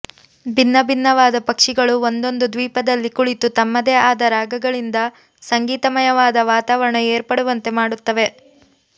ಭಿನ್ನಭಿನ್ನವಾದ ಪಕ್ಷಿಗಳು ಒಂದೊಂದು ದ್ವೀಪದಲ್ಲಿ ಕುಳಿತು ತಮ್ಮದೇ ಆದ ರಾಗಗಳಿಂದ ಸಂಗೀತಮಯವಾದ ವಾತಾವರಣ ಏರ್ಪಡುವಂತೆ ಮಾಡುತ್ತವೆ